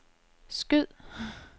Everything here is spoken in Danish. skyd